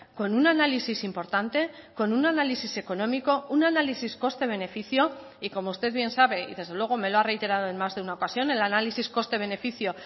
con un análisis importante con un análisis económico un análisis coste beneficio y como usted bien sabe y desde luego me lo ha reiterado en más de una ocasión el análisis coste beneficio